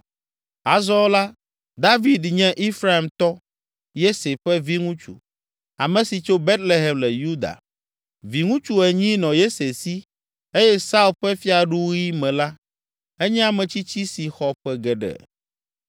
Azɔ la, David nye Efraimtɔ, Yese ƒe viŋutsu, ame si tso Betlehem le Yuda. Viŋutsu enyi nɔ Yese si eye Saul ƒe fiaɖuɣi me la, enye ametsitsi si xɔ ƒe geɖe.